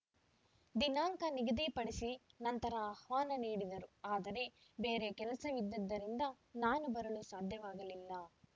ದಿನಾಂಕ ನಿಗದಿಪಡಿಸಿ ನಂತರ ಆಹ್ವಾನ ನೀಡಿದರು ಆದರೆ ಬೇರೆ ಕೆಲಸವಿದ್ದಿದ್ದರಿಂದ ನಾನು ಬರಲು ಸಾಧ್ಯವಾಗಲಿಲ್ಲ